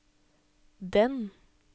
den